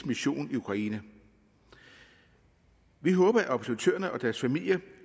mission i ukraine vi håber at observatørerne og deres familier